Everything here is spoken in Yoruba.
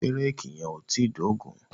Ṣé réèkì yẹn ò tíì dógùn-ún?